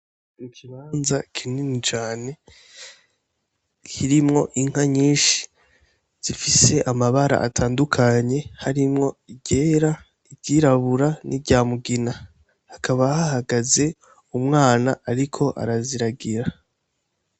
Ikimanza kinini cane hirimwo inka nyinshi zifise amabara atandukanye harimwo igera iryirabura ni ryamugina hakaba hahagaze umwana, ariko araziragira.